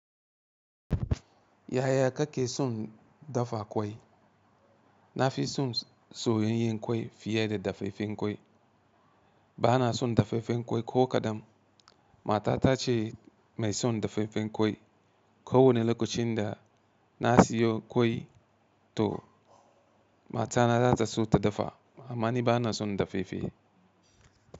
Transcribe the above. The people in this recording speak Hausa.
Yaya kake son dafa ƙwai? Na fi son soyayyen ƙwai fiye da dafeifen ƙwai. Ba na son dafeifen ƙwai ko kaɗam. Matata ce mai son dafeifen ƙwai. Ko wane lokacin da na siyo ƙwai to matana za ta so ta dafa. Amma ni ba na son dafeife.